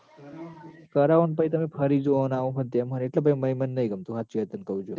કરાવું ન તમે પહી ફરી જો આ ઓમ હ ન તેમ હ એટલે ભાઈ મ મન નહીં ગમતું હાચી વાત તન કઉં જો